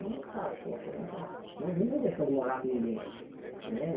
Eu nunca, poxa, nunca não vim com intenção de morar com ninguém né.